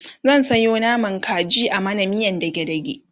zan Sayo naman kaji a mana miyan dage dage